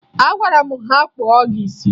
Agwara m ha kpụọ gị isi!